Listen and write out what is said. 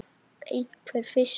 einhver fiskur.